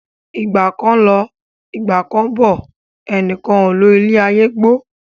Ìgbà kan ń lọ, Ìgbà kán ń bọ̀, ẹnìkan ò lo ilé ayé gbó.